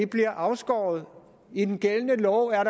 bliver afskåret i den gældende lov er